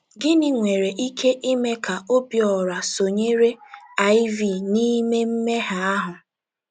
Gịnị nwere ike ime ka Obiora sonyere Iv n’ime mmehie ahụ?